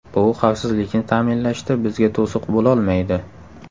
Bu xavfsizlikni ta’minlashda bizga to‘siq bo‘lolmaydi.